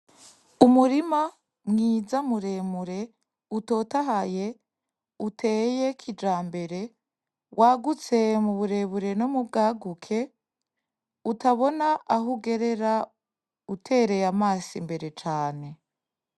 Umurima mwiza muremure utotahaye uteye kijambere wagutse mu burebure no mu bwaguke utabona aho uherera utereye amaso kure cane.